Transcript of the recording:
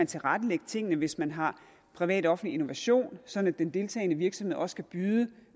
tilrettelægge tingene hvis man har privat offentlig innovation sådan at den deltagende virksomhed også kan byde